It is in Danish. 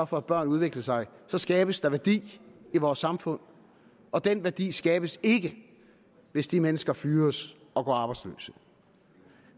for at børn udvikler sig så skabes der værdi i vores samfund og den værdi skabes ikke hvis de mennesker fyres og går arbejdsløse